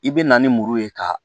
I bɛ na ni muru ye ka